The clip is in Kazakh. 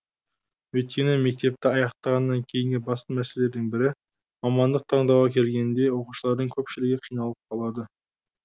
өйткені мектепті аяқтағаннан кейінгі басты мәселелердің бірі мамандық таңдауға келгенде оқушылардың көпшілігі қиналып қалады